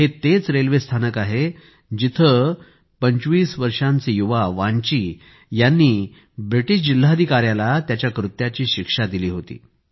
हे तेच रेल्वे स्थानक आहे जिथे 25 वर्षांच्या युवा वान्ची यांनी ब्रिटिश जिल्हाधिकाऱ्याला त्याच्या कृत्याची शिक्षा दिली होती